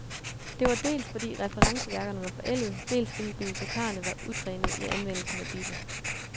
Det var dels, fordi referenceværkerne var forældede, dels fordi bibliotekarerne var utrænede i anvendelsen af disse.